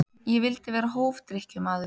Ég vildi vera hófdrykkjumaður.